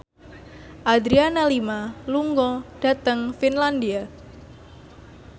Adriana Lima lunga dhateng Finlandia